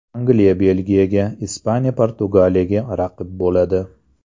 Angliya Belgiyaga, Ispaniya Portugaliyaga raqib bo‘ladi.